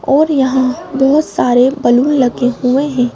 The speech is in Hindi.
और यहां बहुत सारे बैलून लगे हुए हैं।